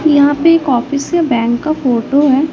यहां पे एक ऑफिस या बैंक का फोटो है।